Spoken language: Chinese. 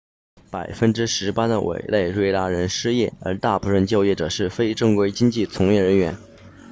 百分之十八的委内瑞拉人失业而大部分就业者是非正规经济从业人员